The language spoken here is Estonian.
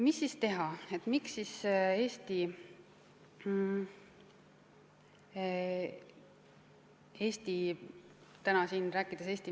Mida siis teha?